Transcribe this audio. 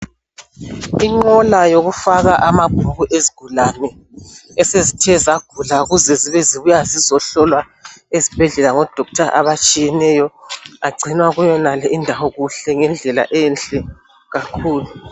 Inqola yokufaka amabhuku ezigulane esezithe zagula ukuze zibe zibuya ukuzohlolwa ezibhedlela ngodoctor abatshiyeneyo agcinwa kule indawo ngendlela enhle kakhulu.